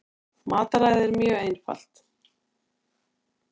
Mataræðið er mjög einfalt